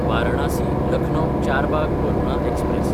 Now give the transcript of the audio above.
वारणासी–लखनौ Charbagh Varuna express